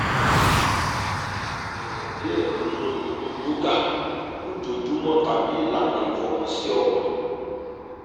bẹrẹ diẹ ninu iru yoga ojoojumọ tabi ilana ifọkansi ọkan